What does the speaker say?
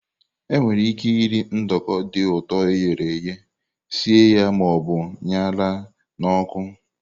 Enwere ike iri nduko dị ụtọ e ghere eghe, sie ya ma ọ bụ ṅara n'ọkụ.